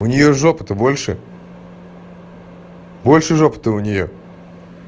у неё жопа то больше больше жопа то у неё